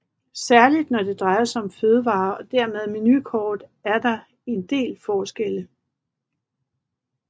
Særlig når det drejer sig om fødevarer og dermed menukort er der en del forskelle